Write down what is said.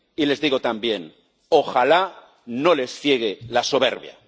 Y les digo también ojalá no les ciegue la soberbia.